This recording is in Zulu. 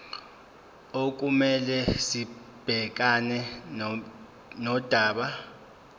okumele sibhekane nodaba